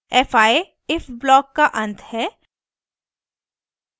fi if block का अंत है